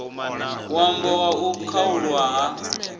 ṅwambo wa u khaulwa ha